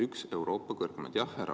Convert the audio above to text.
Üks Euroopa kõrgemaid!